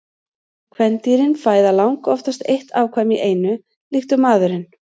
Kvendýrin fæða langoftast eitt afkvæmi í einu líkt og maðurinn.